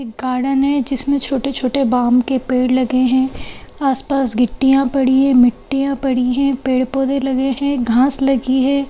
एक गार्डन हे जिसमें छोटे-छोटे बाम के पेड़ लगे हैं आस-पास गिट्टीयाँ पड़ी हे मिट्टियाँ पड़ी हे पेड़-पौधे लगे हे घास लगी है।